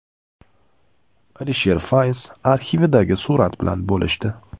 Alisher Fayz arxividagi surat bilan bo‘lishdi.